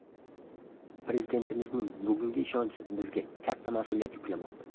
Prezidentimizning bugungi ishonchi bizga katta mas’uliyat yuklamoqda.